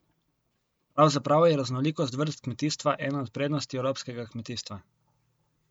Pravzaprav je raznolikost vrst kmetijstva ena od prednosti evropskega kmetijstva.